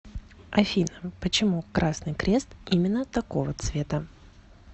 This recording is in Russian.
афина почему красный крест именно такого цвета